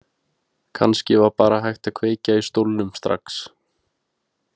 Kannski var bara hægt að kveikja í stólnum strax.